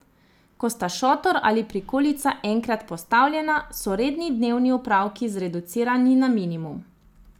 Ko sta šotor ali prikolica enkrat postavljena, so redni dnevni opravki zreducirani na minimum.